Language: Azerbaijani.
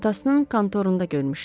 Atasının kontorunda görmüşdüm.